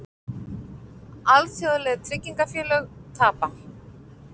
Alþjóðleg tryggingafélög tapa